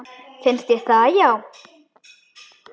Finnst þér það já.